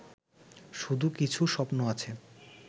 শুধু কিছু স্বপ্ন আছে